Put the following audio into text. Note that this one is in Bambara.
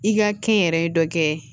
I ka kɛnyɛrɛye dɔ kɛ